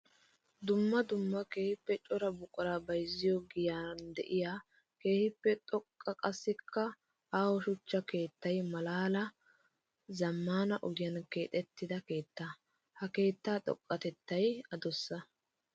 Dumma dumma keehippe cora buqura bayzziyo giyan de'iya keehippe xoqqa qassikka aaho shuchcha keettay malaaliya zamaana ogiyan keexetidda keetta. Ha keetta xoqatettay adussa.